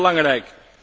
Heel belangrijk.